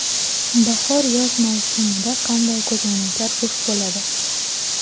Bahor-yoz mavsumida qanday ko‘zoynaklar urfda bo‘ladi?